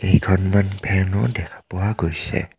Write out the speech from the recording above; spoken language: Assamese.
কেইখনমান ফেন ও দেখোৱা গৈছে.